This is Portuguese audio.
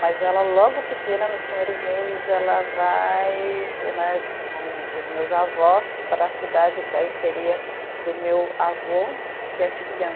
Mas ela logo pequena, nos primeiros meses, ela vai né com os meus avós para a cidade que aí seria do meu avô, que é